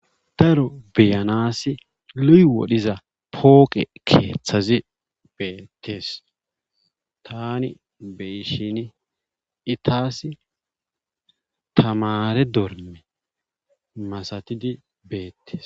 Daro beyanaasi loyi wodhiza pooqe keethazi beettees taani beyishiini i taasi tamaare dormme masatidi beetees.